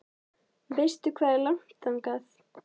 Veistu hvað er langt þangað?